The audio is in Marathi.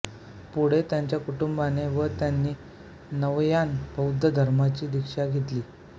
पुढे त्यांच्या कुटुंबाने व त्यांनी नवयान बौद्ध धर्माची दीक्षा घेतली